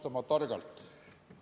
Ta väitis, et mängis raha kasiinodes maha.